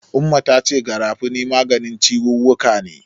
Umma ta ce Garafuni maganin ciwuwwuka ne.